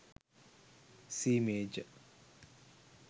c major